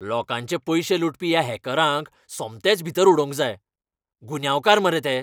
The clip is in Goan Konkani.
लोकांचें पयशें लुटपी ह्या हॅकरांक सोमतेच भितर उडोवंक जाय. गुन्यांवकार मरे ते.